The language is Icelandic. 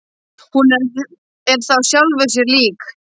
Hún er þá sjálfri sér lík.